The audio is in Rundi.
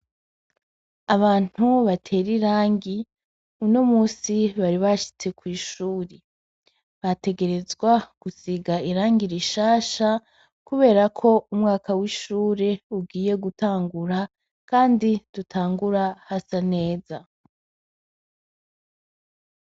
Abantu batera irangi uno musi bari bashitse kw'ishuri bategerezwa gusiga irangi r ishasha, kubera ko umwaka w'ishure ugiye gutangura, kandi dutangura hasa neza.